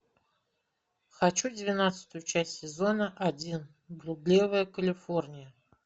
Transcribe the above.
хочу двенадцатую часть сезона один блудливая калифорния